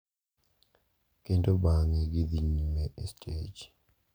Kendo bang’e gidhi nyime e stej,